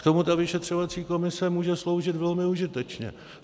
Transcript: K tomu ta vyšetřovací komise může sloužit velmi užitečně.